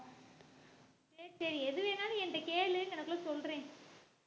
சரி சரி எது வேணாலும் என்ட்ட கேளு சொல்ரேன்